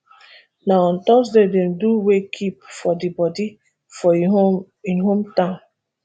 na on thursday dem do wake keep for di body for im home im home town